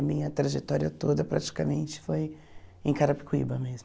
A minha trajetória toda praticamente foi em Carapicuíba mesmo.